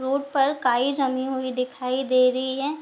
Road पर काई जमी हुई दिखाई दे रही है।